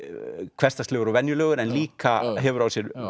hversdagslegur og venjulegur en líka hefur á sér